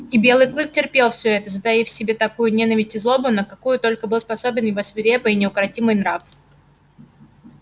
и белый клык терпел всё это затаив в себе такую ненависть и злобу на какую только был способен его свирепый и неукротимый нрав